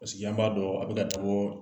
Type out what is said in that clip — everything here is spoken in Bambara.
Paseke an b'a dɔn a bɛ ka